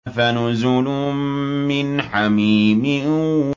فَنُزُلٌ مِّنْ حَمِيمٍ